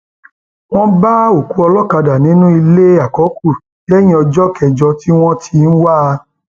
wọn bá òkú olókàdá nínú ilé àkọkù lẹyìn ọjọ kẹjọ tí wọn ti ń wá a